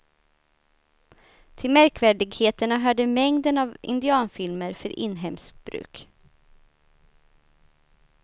Till märkvärdigheterna hörde mängden av indianfilmer för inhemskt bruk.